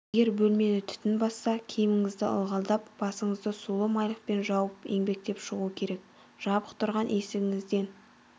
егер бөлмені түтін басса киіміңізді ылғалдап басыңды сулы майлықпен жауып еңбектеп шығу керек жабық тұрған есігіңізден